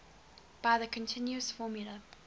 by the continuous formula